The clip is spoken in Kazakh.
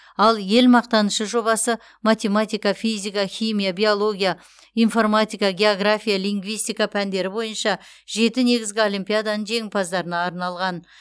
ал ел мақтанышы жобасы математика физика химия биология информатика география лингвистика пәндері бойынша жеті негізгі олимпиаданың жеңімпаздарына арналған